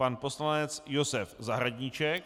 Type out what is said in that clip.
Pan poslanec Josef Zahradníček.